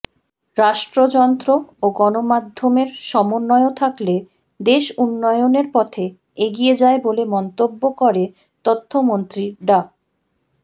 রাষ্ট্রযন্ত্র ও গণমাধ্যমের সমন্বয় থাকলে দেশ উন্নয়নের পথে এগিয়ে যায় বলে মন্তব্য করে তথ্যমন্ত্রী ডা